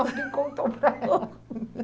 Alguém contou para ela.